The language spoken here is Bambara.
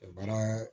Baara